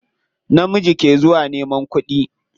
Namiji ke zuwa neman kuɗi.